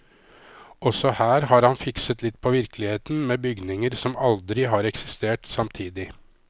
Også her har han fikset litt på virkeligheten, med bygninger som aldri har eksistert samtidig.